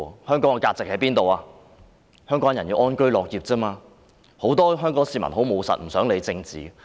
香港人只求安居樂業，很多務實的香港市民也不願多談政治。